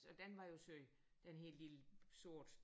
Og den var jo sød den her lille sorte